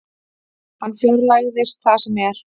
Hann fjarlægist það sem er.